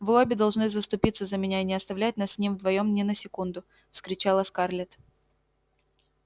вы обе должны заступиться за меня и не оставлять нас с ним вдвоём ни на секунду вскричала скарлетт